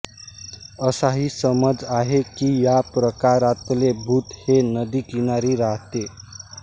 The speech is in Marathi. असाही समज आहे की या प्रकारातले भूत हे नदीकिनारी राहते